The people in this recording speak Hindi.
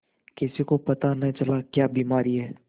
किसी को पता न चला क्या बीमारी है